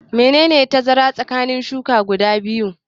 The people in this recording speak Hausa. Menene tazara tsakanin shuƙi biyu?